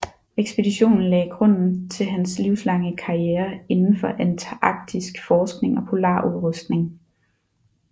Ekspeditionen lagde grunden til hans livslange karriere indenfor antarktisk forskning og polarudrustning